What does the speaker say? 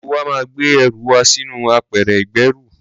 Gbogbo wa máa gbé ẹrù wa sí inú apẹ̀rẹ̀ ìgbẹ́rù.